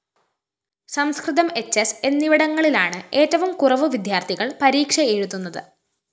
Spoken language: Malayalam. സംസ്‌കൃതം എച്ച്എസ് എന്നിവിടങ്ങളിലാണ് ഏറ്റവും കുറവു വിദ്യാര്‍ഥികള്‍ പരീക്ഷയെഴുതുന്നത്